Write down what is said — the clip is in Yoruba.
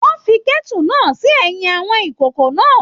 Wọn fí kẹ́tu náà sí ẹyin àwọn ìkòkò náà.